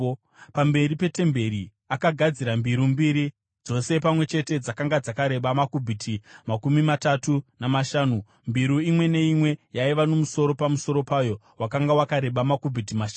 Pamberi petemberi akagadzira mbiru mbiri, dzose pamwe chete dzakanga dzakareba makubhiti makumi matatu namashanu , mbiru imwe neimwe yaiva nomusoro pamusoro payo wakanga wakareba makubhiti mashanu.